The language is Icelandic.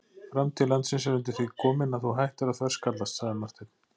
Framtíð landsins er undir því komin að þú hættir að þverskallast, sagði Marteinn.